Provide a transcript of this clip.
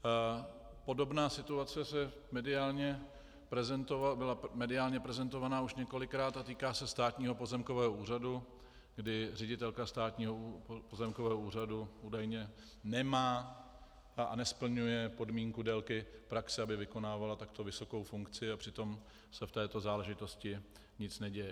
Podobná situace byla mediálně prezentována už několikrát a týká se Státního pozemkového úřadu, kdy ředitelka Státního pozemkového úřadu údajně nemá a nesplňuje podmínku délky praxe, aby vykonávala takto vysokou funkci, a přitom se v této záležitosti nic neděje.